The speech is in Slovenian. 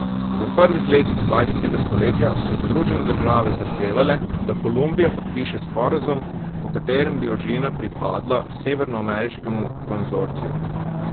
V prvih letih dvajsetega stoletja so Združene države zahtevale, da Kolumbija podpiše sporazum, po katerem bi ožina pripadla severnoameriškemu konzorciju.